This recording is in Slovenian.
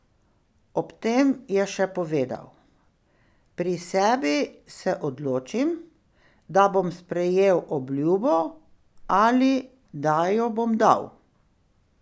Ob tem je še povedal: "Pri sebi se odločim, da bom sprejel obljubo ali da jo bom dal.